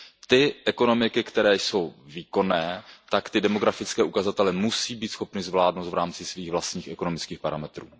Ty ekonomiky, které jsou výkonné, tak ty demografické ukazatele musí být schopny zvládnout v rámci svých vlastních ekonomických parametrů.